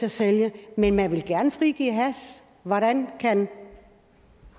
at sælge men man vil gerne frigive hash hvordan kan